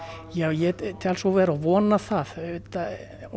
já ég tel svo vera og vona það auðvitað